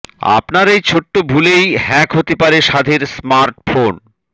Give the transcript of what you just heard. আপনার এই ছোট্ট ভুলেই হ্যাক হতে পারে সাধের স্মার্টফোন